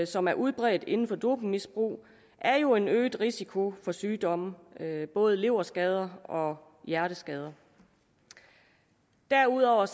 som er udbredt inden for dopingmisbrug er jo en øget risiko for sygdomme både leverskader og hjerteskader derudover